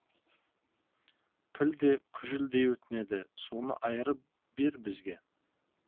піл де күжілдей өтінеді соны айырып бер бізге